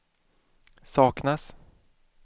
saknas